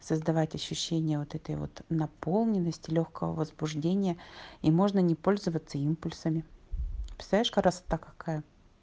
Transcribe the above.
создавать ощущение вот этой вот наполненность и лёгкого возбуждения и можно не пользоваться импульсами представляешь красота какая